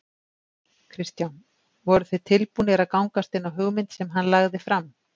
Kristján: Voruð þið tilbúnir að gangast inn á hugmynd sem hann lagði fram?